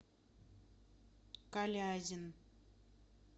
калязин